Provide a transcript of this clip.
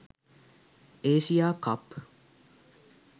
asia cup